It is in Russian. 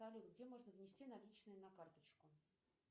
салют где можно внести наличные на карточку